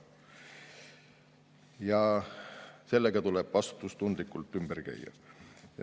Ja sellega tuleb vastutustundlikult ümber käia.